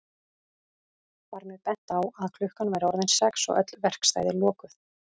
Var mér bent á að klukkan væri orðin sex og öll verkstæði lokuð.